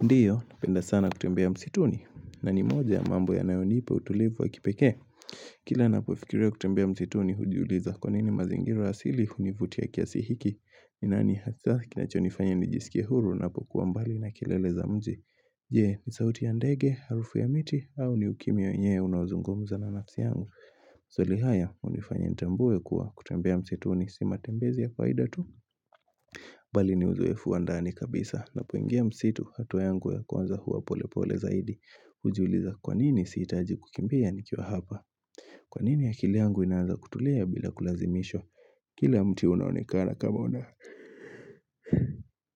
Ndiyo, napenda sana kutembea msituni, na ni moja mambo yanayonipa utulivu wa kipekee. Kila napofikirio kutembea msituni hujiuliza kwa nini mazingiro asili hunivuti ya kiasihiki. Nani hasa kinachonifanya nijisikia huru napokuwa mbali na kilele za mji. Je, ni sauti ya ndege, harufu ya miti, au ni ukimya wenyewe unaozungumza na nafsi yangu. Maswali haya, unifanya nitambue kuwa kutembea msituni si matembezi ya faida tu. Bali ni uzoefu wa ndani kabisa na poingia msitu hatuwa yangu ya kwanza huwa pole pole zaidi Ujuliza kwanini siitaji kukimbia nikio hapa Kwanini aki yangu inaanza kutulea bila kulazimishwa Kila mti unaonekana kama una